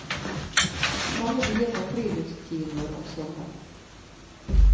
Mange byer har friluftskinoer om sommeren.